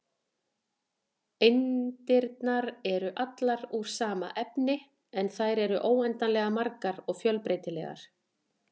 Eindirnar eru allar úr sama efni, en þær eru óendanlega margar og fjölbreytilegar.